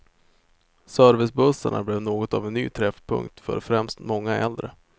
Servicebussarna blev något av en ny träffpunkt för främst många äldre.